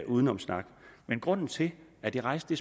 udenomssnak grunden til at jeg rejste